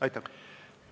Aitäh!